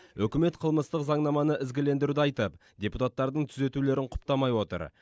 үкімет қылмыстық заңнаманы ізгілендіруді айтып депутаттардың түзетулерін құптамай отыр